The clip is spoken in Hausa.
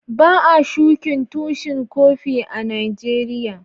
Ba'a shukin tushin Kofi a'Nijeriya.